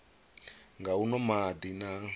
nga u nwa madi na